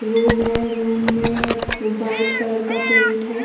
Room है। Room में white colour का पेंट है।